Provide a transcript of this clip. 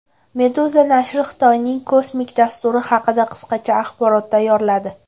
Meduza nashri Xitoyning kosmik dasturi haqida qisqacha axborot tayyorladi .